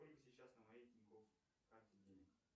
сколько сейчас на моей тинькофф карте денег